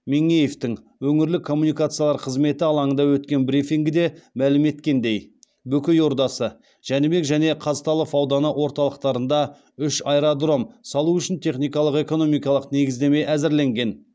меңеевтің өңірлік коммуникациялар қызметі алаңында өткен брифингіде мәлім еткендей бөкей ордасы жәнібек және қазталов ауданы орталықтарында үш аэродром салу үшін техникалық экономикалық негіздеме әзірленген